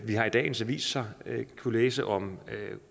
vi har i dagens aviser kunnet læse om